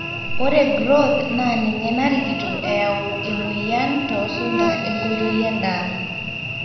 ore growth naa ninye narikito eyau emweyian too sunda enkoitoi endaa